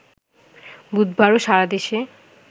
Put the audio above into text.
বুধবারও সারা দেশে